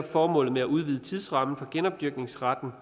formålet med at udvide tidsrammen for genopdyrkningsretten